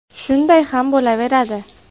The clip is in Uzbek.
Shunday ham bo‘laveradi”.